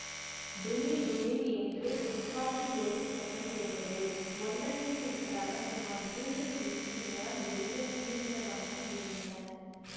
டுமீல் டுமீல் என்று துப்பாக்கி வேட்டுச் சத்தம் கேட்டது ஒன்றன் பின் ஒன்றாக சுமார் மூன்று நிமிஷ நேரம் வெடிகள் தீர்ந்த வண்ணமிருந்தன